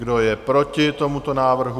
Kdo je proti tomuto návrhu?